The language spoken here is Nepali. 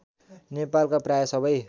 नेपालका प्राय सबै